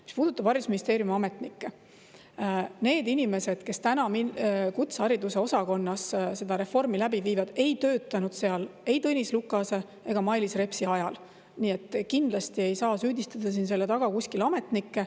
Mis puudutab haridusministeeriumi ametnikke, siis need inimesed, kes praegu kutsehariduse osakonnas seda reformi läbi viivad, ei töötanud seal ei Tõnis Lukase ega Mailis Repsi ajal, nii et kindlasti ei saa süüdistada ja selle taga ametnikke.